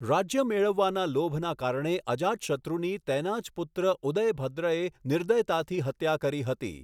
રાજ્ય મેળવવાના લોભના કારણે અજાતશત્રુની તેના જ પુત્ર ઉદયભદ્રએ નિર્દયતાથી હત્યા કરી હતી.